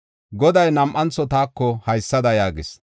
Goday nam7antho taako haysada yaagis: